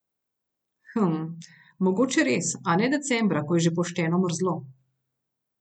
Hm, mogoče res, a ne decembra, ko je že pošteno mrzlo.